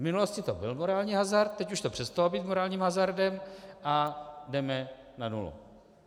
V minulosti to byl morální hazard, teď už to přestalo být morálním hazardem a jdeme na nulu.